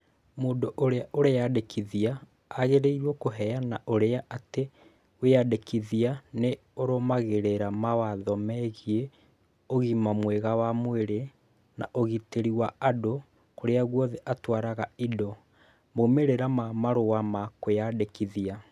Mũndũ ũrĩa ũreyandĩkithia agĩrĩirũo kũheana ũira atĩ wĩyandĩkithia nĩ arũmagĩrĩra mawatho megiĩ ũgima mwega wa mwĩrĩ na ũgitĩri wa andũ kũrĩa guothe atwaraga indo. Maumĩrĩra ma marũa ma kwĩyandĩkithia.